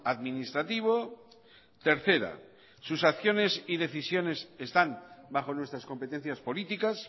administrativo tercera sus acciones y decisiones están bajo nuestras competencias políticas